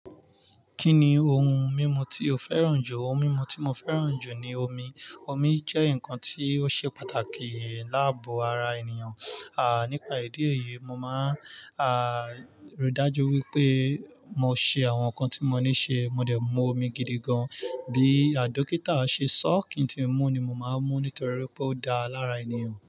Kí ni ohun mímu tí o fẹ́ràn jù? Ohun mímu tí mo fẹ́ràn jù ni omi. Omi jẹ́ nǹkan tí ó ṣe pàtàkì láàbò ara ènìyàn. Nípa ìdí èyí, mo máa ri dájú wípé mo ṣe àwọn nǹkan tí mo ní ṣe. Mo dẹ̀ mú omi gidi gan. Bí dókítà ṣe sọ kí ń ti mú ni mo máa ń mú nítorí pé ó dáa lára ènìyàn.